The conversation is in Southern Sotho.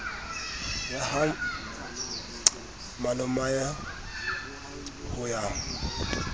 ya ha malomae ho ya